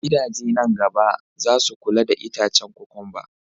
Gidaje nan na gaba zasu kula da itacen kokwamba